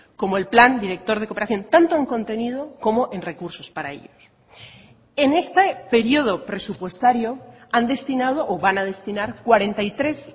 como el plan director de cooperación tanto en contenido como en recursos para ello en este periodo presupuestario han destinado o van a destinar cuarenta y tres